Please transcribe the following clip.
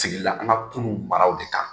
Sigila an ka kunu maraw de kan.